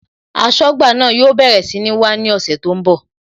Aṣọ́gbà náà yóò bẹ̀rẹ̀ sí ní wá ní ọ̀sẹ̀ tó ń bọ̀